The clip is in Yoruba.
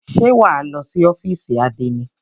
Ṣé wà á lọ sí ófìsì àdénì?